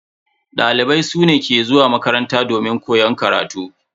Dalibai su ne ke zuwa makaranta domin koyan karatu.